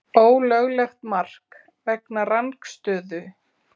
Ólöglegt mark vegna rangstöðu?